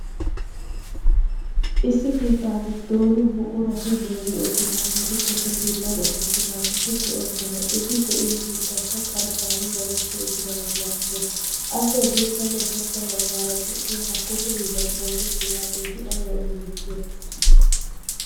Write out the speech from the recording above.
issi keettaa giddon buqurati giigi uttidaageti kushe hiillan oosetidaageti de"oosona. etti de'iyoo keettaykka qarxxan daddetti uttidagee beettees. appe hadirssanne ushshacha baggaara de'iyaageti ayba gettetiyoonaa?